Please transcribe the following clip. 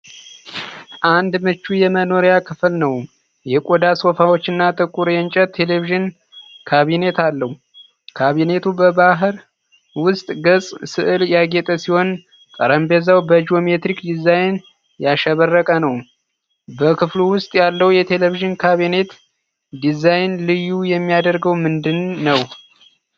አንድ ምቹ የመኖሪያ ክፍል ነው፤ የቆዳ ሶፋዎችና ጥቁር የእንጨት የቴሌቪዥን ካቢኔት አለው። ካቢኔቱ በባህር ውስጥ ገጽታ ሥዕል ያጌጠ ሲሆን፣ ጠረጴዛው በጂኦሜትሪክ ዲዛይን ያሸበረቀ ነው። በክፍሉ ውስጥ ያለው የቴሌቪዥን ካቢኔት ዲዛይን ልዩ የሚያደርገው ምንድን ነው?